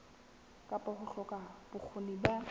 kapa ho hloka bokgoni ba